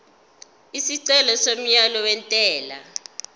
isicelo somyalo wentela